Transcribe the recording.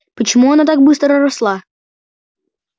почему она так быстро росла